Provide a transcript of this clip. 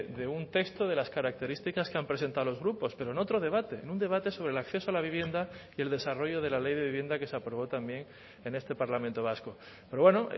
de un texto de las características que han presentado los grupos pero en otro debate en un debate sobre el acceso a la vivienda y el desarrollo de la ley de vivienda que se aprobó también en este parlamento vasco pero bueno